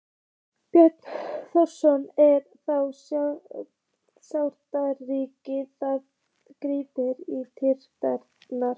Björn Þorláksson: Er það sárasjaldgæft að þið grípið til kylfunnar?